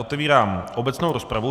Otevírám obecnou rozpravu.